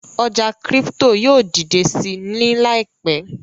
ọja crypto yóò didẹ sí ní láìpé.